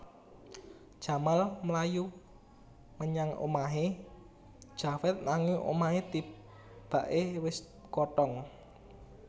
Jamal mlayu menyang omahé Javed nanging omahé tibaké wis kothong